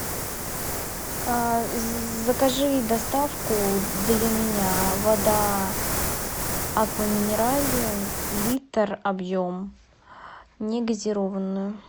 закажи доставку для меня вода аква минерале литр объем негазированную